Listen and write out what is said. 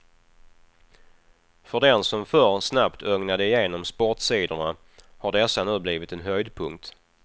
För den som förr snabbt ögnade igenom sportsidorna har dessa nu blivit en höjdpunkt.